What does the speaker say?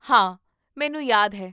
ਹਾਂ, ਮੈਨੂੰ ਯਾਦ ਹੈ